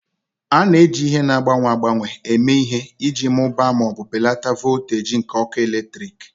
A na-eji ihe na-agbanwe agbanwe eme ihe iji mụbaa ma ọ bụ belata voltaji nke ọkụ eletrik